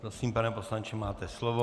Prosím, pane poslanče, máte slovo.